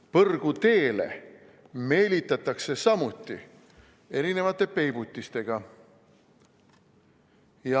Põrguteele meelitatakse samuti erinevate peibutistega.